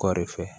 Kɔɔri fɛ